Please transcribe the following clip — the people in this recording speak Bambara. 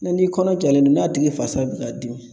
n'i kɔnɔ jalen don n'a tigi fasa bɛ ka dimi